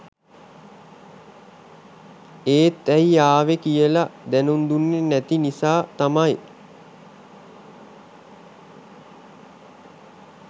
එත් ඇයි ආවේ කියල දැනුම් දුන්නෙ නැති නිසා තමයි